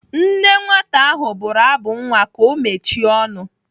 Nne nwata ahụ bụrụ abụ nwa ka ọ mechie ọnụ.